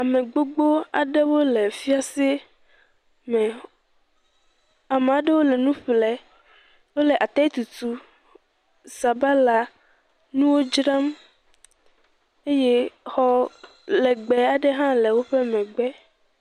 Ame gbogbo aɖe le fiase me ame aɖewo le nu ƒlee, wole ataditutu, sabala nuwo dzram eye xɔ legbẽ aɖewo hã le woƒe megbe.